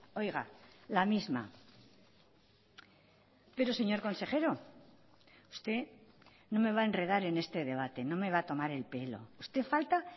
oiga la misma pero señor consejero usted no me va a enredar en este debate no me va a tomar el pelo usted falta